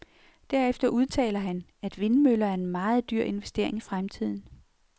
Derefter udtaler han, at vindmøller er en meget dyr investering i fremtiden.